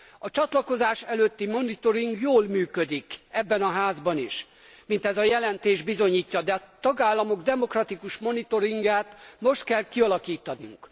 A csatlakozás előtti monitoring jól működik ebben a házban is mint ez a jelentés bizonyítja de a tagállamok demokratikus monitoringját most kell kialakítanunk.